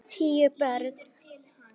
Tíu börn.